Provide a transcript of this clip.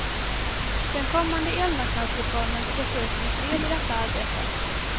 Den kommande elmarknadsreformen skall ses som ett led i detta arbete.